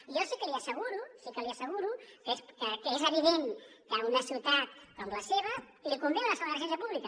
jo sí que li asseguro sí que l’hi asseguro que és evident que a una ciutat com la seva li convé una segona residència pública